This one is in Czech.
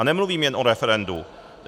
A nemluvím jen o referendu.